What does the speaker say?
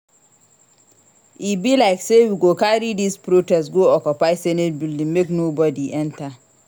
E be like sey we go carry dis protest go occupy senate building make nobodi enta.